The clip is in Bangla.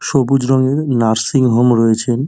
সবুজ রঙের নার্সিং হোম রয়েছেন।